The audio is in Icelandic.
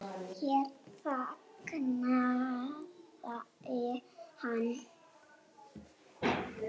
Hér þagnaði hann.